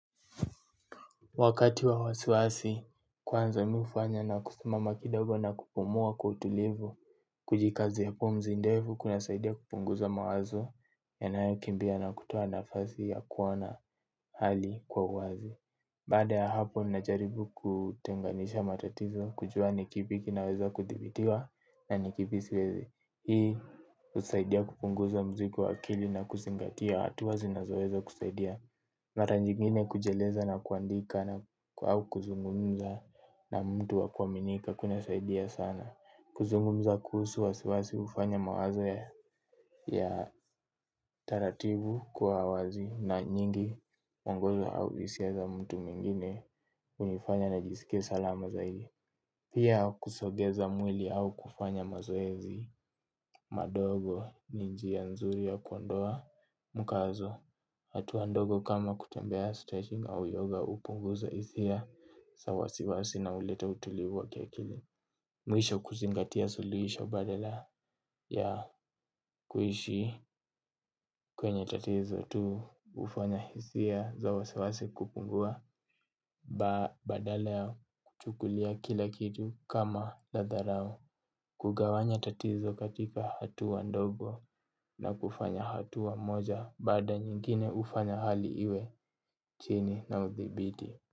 Wakati wa wasiwasi, kwanza mi ufanya na kusuma makidogo na kupumua kwa utulivu, kujikazi hapo mzindevu, kuna saidia kupunguza mawazo, ya nayo kimbia na kutoa nafazi ya kuona hali kwa uwazi. Baada ya hapo, ninajaribu kutengenisha matatizo, kujua ni kipi kina weza kuthibitiwa na nikipisiwezi. Hii, usaidia kupunguza mzigo wa akili na kuzingatia, hatua zinazoeza kusaidia. Mara nyigine kujeleza na kuandika au kuzungumza na mtu wakuminika kunasaidia sana. Kuzungumza kusu wasiwasi ufanya mawazo ya tarativu kuawazi na nyingi mwongozo au isiaza mtu mwingine unifanya najisike salama zaidi. Pia kusogeza mwili au kufanya mazoezi madogo ni njia nzuri ya kuandoa mkazo. Hatua ndogo kama kutembea stretching au yoga upungu za hisia sawasiwasi na ulita utulivu wa kiakili. Mwisho kuzingatia suliisha badala ya kuishi kwenye tatizo tu ufanya hisia za wasiwasi kupungua badala ya kuchukulia kila kitu kama la dharau. Kugawanya tatizo katika hatua ndogo na kufanya hatu wa moja baada nyingine ufanya hali iwe chini na uthibiti.